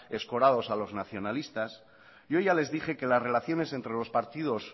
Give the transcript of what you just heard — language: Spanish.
escorados a los nacionalistas yo ya les dije que las relaciones entre los partidos